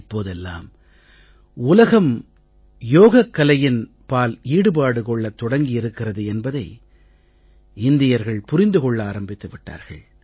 இப்போதெல்லாம் உலகம் முழுவதும் யோகக் கலையின் பால் ஈடுபாடு கொள்ளத் தொடங்கி இருக்கிறது என்பதை இந்தியர்கள் புரிந்து கொள்ள ஆரம்பித்து விட்டார்கள்